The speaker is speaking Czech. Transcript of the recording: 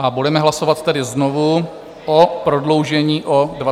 A budeme hlasovat tedy znovu o prodloužení o 20 dnů.